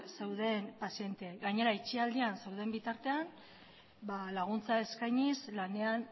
zeuden pazienteei gainera itxialdian zeuden bitartean laguntza eskainiz lanean